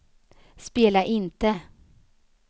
spela inte